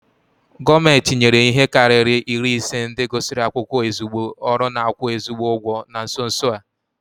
Gọọmenti nyere ihe karịrị iri ise ndị gụsịrị akwụkwọ ezigbo ọrụ n'akwu ezigbi ụgwọ na nso nso a